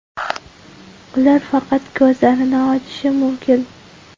Ular faqat ko‘zlarini ochishi mumkin.